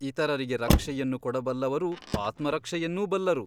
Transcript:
ಇತರರಿಗೆ ರಕ್ಷೆಯನ್ನು ಕೊಡಬಲ್ಲವರು ಆತ್ಮರಕ್ಷೆಯನ್ನೂ ಬಲ್ಲರು.